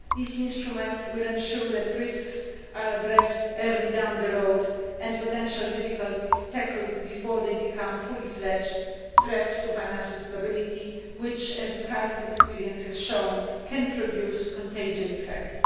These instruments will ensure that risks are addressed early along the road and potential difficulties tackled before they become fully fledged threats to financial stability which, as the experience of the crisis has shown, can produce contagion effects.